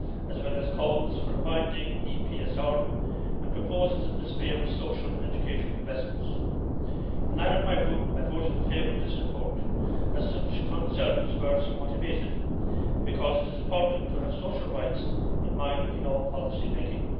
as well as calls for a binding EPSR and proposals in the sphere of social and educational investments. In line with my Group I voted in favour of this report, as such concerns were somewhat abated and because it is important to have social rights in mind in all policy making.